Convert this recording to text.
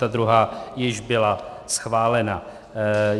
Ta druhá již byla schválena.